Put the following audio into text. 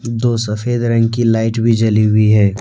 दो सफेद रंग की लाइट भी जली हुई है।